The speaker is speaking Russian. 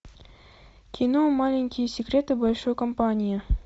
кино маленькие секреты большой компании